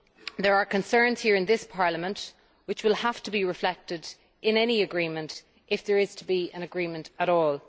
There are concerns here in this Parliament which will have to be reflected in any agreement, if there is to be an agreement at all.